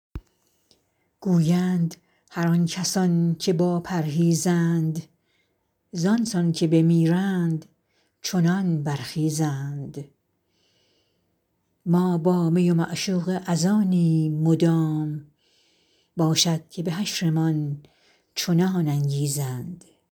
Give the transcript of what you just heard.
گویند هر آن کسان که با پرهیزند زآن سان که بمیرند چنان برخیزند ما با می و معشوقه از آنیم مدام باشد که به حشرمان چنان انگیزند